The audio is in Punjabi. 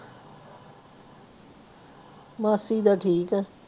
ਮਾਸੀ ਦਾ ਠੀਕ ਆ